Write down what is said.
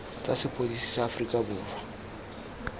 tsa sepodisi sa aforika borwa